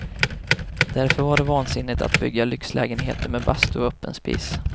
Därför var det vansinne att bygga lyxlägenheter med bastu och öppen spis.